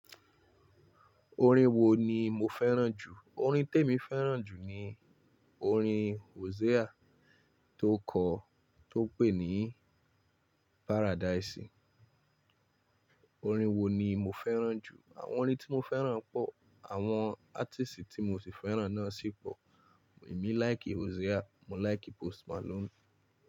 Orin wo ni mo fẹ́ràn jù? Orin tí èmi fẹ́ràn jù ni orin Hosea tó kọ, tó pè ní Paradise. Orin wo ni mo fẹ́ràn jù? Àwọn orin tí mo fẹ́ràn pọ̀, àwọn artist tí mo ti fẹ́ràn náà sì pọ̀. Èmi like Hosea, mo like Post Malone.